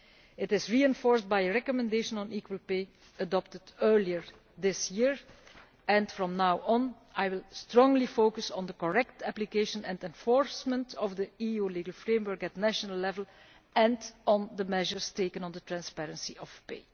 It is reinforced by a recommendation on equal pay adopted earlier this year, and from now on I will strongly focus on the correct application and enforcement of the EU legal framework at national level and on the measures taken on the transparency of pay.